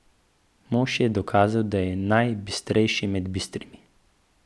Mož je dokazal, da je najbistrejši med bistrimi.